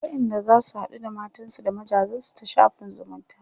akwai wayanda zasu haɗu da matansu da mazajensu ta shafin zumunta